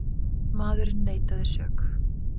Maðurinn neitaði sök.